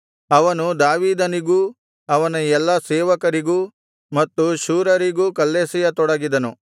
ಅವನು ದಾವೀದನಿಗೂ ಅವನ ಎಲ್ಲಾ ಸೇವಕರಿಗೂ ಎಡಬಲದಲ್ಲಿರುವ ಸೈನಿಕರಿಗೂ ಮತ್ತು ಶೂರರಿಗೂ ಕಲ್ಲೆಸೆಯ ತೊಡಗಿದನು